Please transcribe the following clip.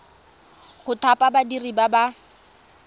go thapa badiri ba ba